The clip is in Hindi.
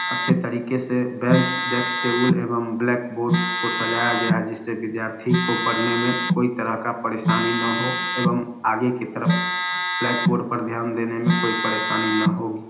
अच्छे तरीके से बेंच डेस्क टेबल एवं ब्लैक बोर्ड को सजाया गया जिसे विद्यार्थी को पढ़ने में कोई तरह का परेशानी ना हो एवं आगे कि तरफ ब्लैक बोर्ड देखने में कोई परेशानी ना होगी।